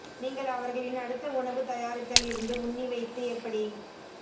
நீங்கள் அவர்களின் அடுத்த உணவு தயாரித்தல் இருந்து உண்ணி வைத்து எப்படி